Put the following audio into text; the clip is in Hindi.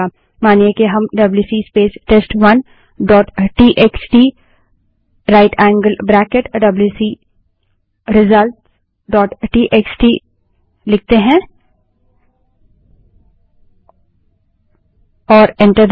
मानिए कि हम WC space test one dot TXT right angled bracket WC result dot TXT WC space test one dot TXT right angled bracket wc results dot TXT लिखें